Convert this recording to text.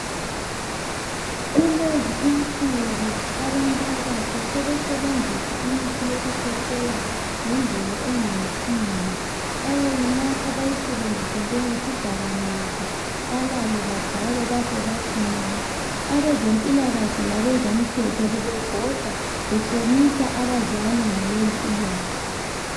Kulezi insuku abantu abatsha sebesebenzisa imithi yokukhwehlela ngendlela engayisiyo. Bayayinatha bayisebenzise njengesidakamizwa, balale, badakwe bafe bathi nya. Abezempilakahle labazomthetho bebebhoda behlomisa abazali ngalolu ulwazi.